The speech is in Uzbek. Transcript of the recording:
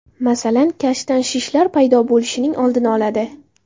Masalan, kashtan shishlar paydo bo‘lishining oldini oladi.